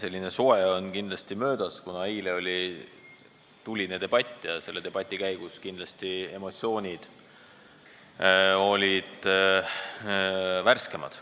Esimene soe on möödas, kuna tuline debatt oli eile ja selle debati käigus olid emotsioonid kindlasti värskemad.